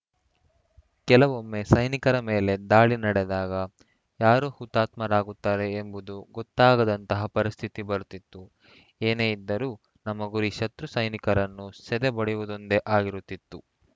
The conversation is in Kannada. ಕೆಲವೊಮ್ಮೆ ಸೈನಿಕರ ಮೇಲೆ ದಾಳಿ ನಡೆದಾಗ ಯಾರು ಹುತಾತ್ಮರಾಗುತ್ತಾರೆ ಎಂಬುದೂ ಗೊತ್ತಾಗದಂಥ ಪರಿಸ್ಥಿತಿ ಬರುತ್ತಿತ್ತು ಏನೇ ಇದ್ದರೂ ನಮ್ಮ ಗುರಿ ಶತ್ರು ಸೈನಿಕರನ್ನು ಸೆದೆಬಡಿಯುವುದೊಂದೇ ಆಗಿರುತ್ತಿತ್ತು